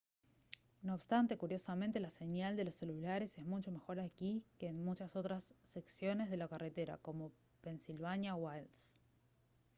no obstante curiosamente la señal de los celulares es mucho mejor aquí que en muchas otras secciones de la carretera como pennsylvania wilds